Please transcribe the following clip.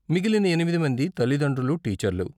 మిగిలిన ఎనిమిది మంది తల్లిదండ్రులు, టీచర్లు.